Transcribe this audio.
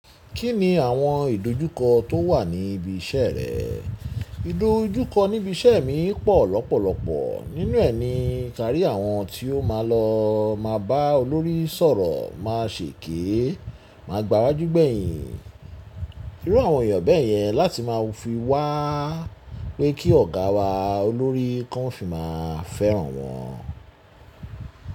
Kí ni àwọn ìdojúkọ tó wà ní ibi iṣẹ́ rẹ? Ìdojúkọ ní ibi iṣẹ́ mi pọ̀ lọ́pọ̀lọpọ̀. Nínú ẹ̀ ni kárí àwọn tí ó máa lọ má a bá olórí sọ̀rọ̀ má a ṣèké, máa gbáwájú gbẹ̀yin. Irú àwọn èèyàn bẹ̀yẹn láti máa fi wá pé kí ọ̀gá wa olórí kan fi máa fẹ́ràn wọn.